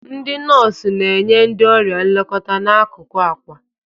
Ndị nọọsụ na-enye ndị ọrịa nlekọta n'akụkụ akwa.